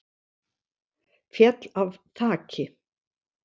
Féll af þaki